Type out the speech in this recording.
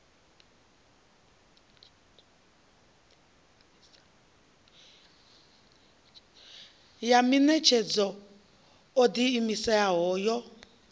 ya muṋetshedzi o ḓiimisaho yo